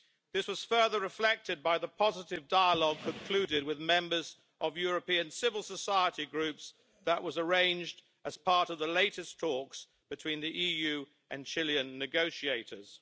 This was further reflected by the positive dialogue concluded with members of European civil society groups that was arranged as part of the latest talks between the EU and Chilean negotiators.